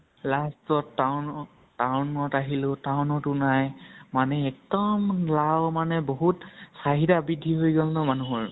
last ত town ত town ত আহিলো, town তো নাই । মানে একদম লাও মানে বহুত চাহিদা বৄদ্ধি হৈ গʼল ন মানুহৰ